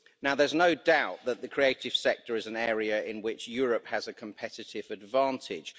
Now there's no doubt that the creative sector is an area in which Europe has a competitive advantage.